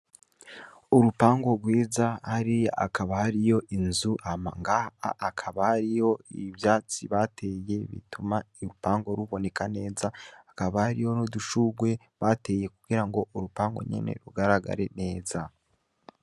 Urupango rwiza hario akaba hari yo inzu amangaa akaba hari yo ibivyatsi bateye bituma irupango ruboneka neza akaba hari yo nudushurwe bateye kugira ngo urupango nyene rugaragare neza.